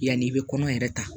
Yanni i bɛ kɔnɔ yɛrɛ ta